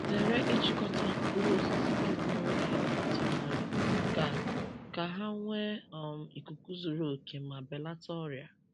Zere ịchịkọta mkpụrụ osisi gị n’oge ị na-atụgharị, ka ka ha nwee um ikuku zuru oke ma belata ọrịa.